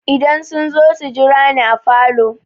Idan sun zo su jira ni a falo.